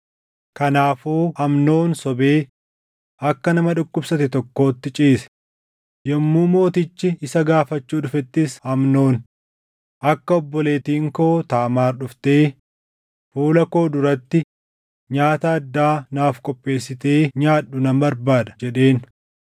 Kanaafuu Amnoon sobee akka nama dhukkubsate tokkootti ciise. Yommuu mootichi isa gaafachuu dhufettis Amnoon, “Akka obboleettiin koo Taamaar dhuftee fuula koo duratti nyaata addaa naaf qopheessitee nyaadhu nan barbaada” jedheen.